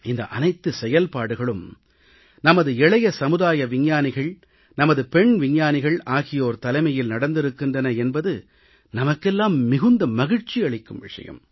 இந்த அனைத்து செயல்பாடுகளும் நமது இளைய சமுதாய விஞ்ஞானிகள் நமது பெண் விஞ்ஞானிகள் ஆகியோர் தலைமையில் நடந்திருக்கின்றன என்பது நமக்கெல்லாம் மிகுந்த மகிழ்ச்சி அளிக்கும் விஷயம்